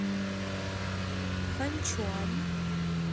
ханьчуань